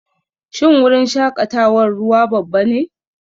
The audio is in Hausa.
Shin wurin shakatawar ruwa babba ne?